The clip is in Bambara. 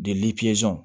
Deli pizɔn